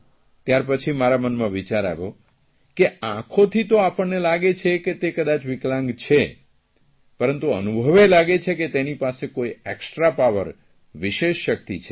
ત્યાર પછી મારા મનમાં વિચાર આવ્યો કે આંખોથી તો આપણને લાગે છે કે તે વિકલાંગ છે પરંતુ અનુભવે લાગે છે કે તેની પાસે કોઇ એકસ્ટ્રા પાવરવિશેષ શકિત છે